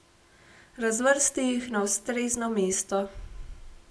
Razvrsti jih na ustrezno mesto.